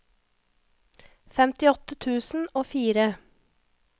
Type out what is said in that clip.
femtiåtte tusen og fire